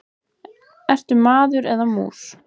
Ertu maður eða mús?